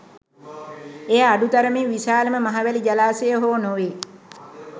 එය අඩු තරමින් විශාලම මහවැලි ජලාශය හෝ නොවේ.